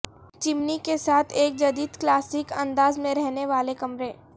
چمنی کے ساتھ ایک جدید کلاسک انداز میں رہنے والے کمرے